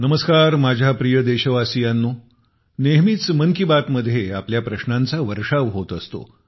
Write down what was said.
नमस्कार माझ्या प्रिय देशवासियांनो नेहमीच मन की बात मध्ये आपल्या प्रश्नांचा वर्षाव होत असतो